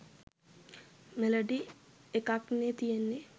melody එකක්නේ තියෙන්නේ